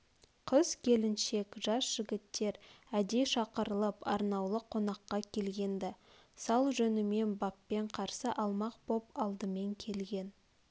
қыз-келіншек жас жігттер әдей шақырылып арнаулы қонаққа келген-ді сал жөнімен баппен қарсы алмақ боп алдымен келген